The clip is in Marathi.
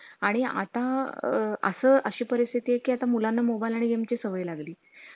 घेऊ घेऊ काय problem नाही.